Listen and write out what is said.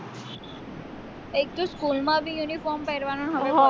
એટલું school માં બી uniform પેરવાનો હવે